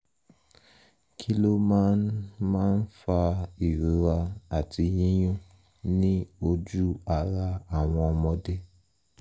kí ló máa ń máa ń fa ìrora àti yíyún ní ojú ara àwọn ọmọdé?